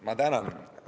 Ma tänan!